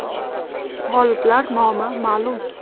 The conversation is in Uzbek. G‘oliblar nomi ma’lum .